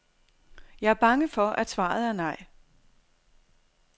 Jeg er bange for, at svaret er nej.